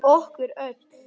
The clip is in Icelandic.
Okkur öll.